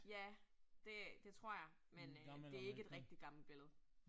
Ja, det det tror jeg, men øh det ikke et rigtig gammelt billede